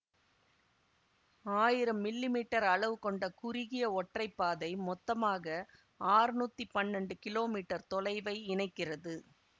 ஆயிரம் millimetre அளவு கொண்ட குறுகிய ஒற்றை பாதை மொத்தமாக ஆற்நூத்தி பன்னெண்டு கிலோமீட்டர் தொலைவை இணைக்கிறது